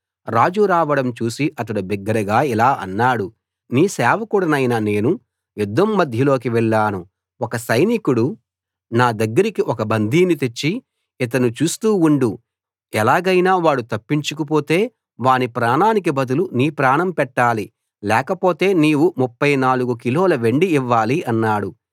రాజు రావడం చూసి అతడు బిగ్గరగా ఇలా అన్నాడు నీ సేవకుడైన నేను యుద్ధం మధ్యలోకి వెళ్లాను ఒక సైనికుడు నా దగ్గరికి ఒక బందీని తెచ్చి ఇతన్ని చూస్తూ ఉండు ఎలాగైనా వాడు తప్పించుకుపోతే వాని ప్రాణానికి బదులు నీ ప్రాణం పెట్టాలి లేకపోతే నీవు 34 కిలోల వెండి ఇవ్వాలి అన్నాడు